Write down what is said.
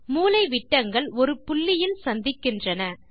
மூலைவிட்டங்கள் ஒரு புள்ளியில் சந்திக்கின்றன